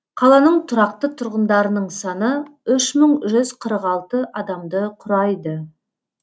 қаланың тұрақты тұрғындарының саны үш мың жүз қырық алты адамды құрайды